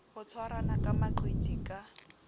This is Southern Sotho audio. ho tshwarana ka maqiti ka